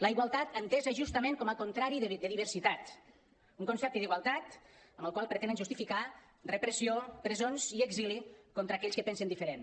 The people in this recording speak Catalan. la igualtat entesa justament com a contrari de diversitat un concepte d’igualtat amb el qual pretenen justificar repressió presons i exili contra aquells que pensen diferent